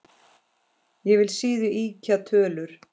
Ég vil síður ýkja tölur.